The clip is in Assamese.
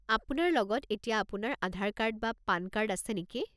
আপোনাৰ লগত এতিয়া আপোনাৰ আধাৰ কাৰ্ড বা পান কাৰ্ড আছে নেকি?